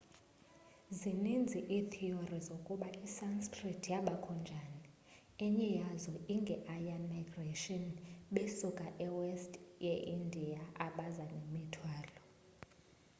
zininzi iitheory zokuba isanskrit yabakho njani. enye yazo inge aryan migration besuka e west ye india abaza nemithwalo